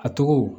A tɔgɔ